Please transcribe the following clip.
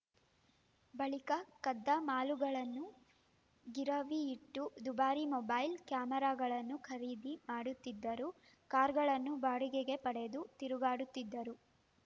ಬಳಿಕ ಕದ್ದ ಮಾಲುಗಳನ್ನು ಗಿರವಿಯಿಟ್ಟು ದುಬಾರಿ ಮೊಬೈಲ ಕ್ಯಾಮೆರಾಗಳನ್ನು ಖರೀದಿ ಮಾಡುತ್ತಿದ್ದರು ಕಾರ್‌ಗಳನ್ನು ಬಾಡಿಗೆಗೆ ಪಡೆದು ತಿರುಗಾಡುತ್ತಿದ್ದರು